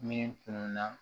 Minnu tunun na